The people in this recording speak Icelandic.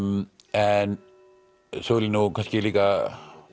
en svo vil ég nú kannski líka